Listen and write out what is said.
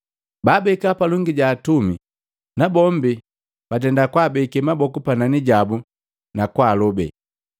Baabeka palongi jaka atumi, nabombi batenda kwaabekee maboku panani jabu na kwaalobe.